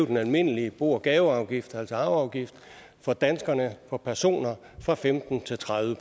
den almindelige bo og gaveafgift altså arveafgiften for danskerne for personer fra femten til tredive